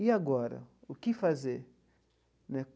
E agora, o que fazer né?